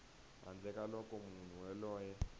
handle ka loko munhu yoloye